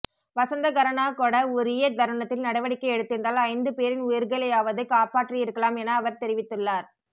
வசந்தகரனாகொட உரிய தருணத்தில் நடவடிக்கை எடுத்திருந்தால் ஐந்துபேரின் உயிர்களையாவது காப்பாற்றியிருக்கலாம் என அவர் தெரிவித்துள்ளார்